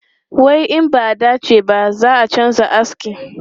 Wai in ba a dace ba, zai canza aski.